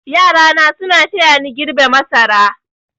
Yarana suna tayani girbe masara.